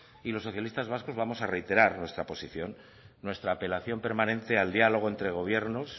y los socialistas vascos vamos a reiterar nuestra posición nuestra apelación permanece al diálogo entre gobiernos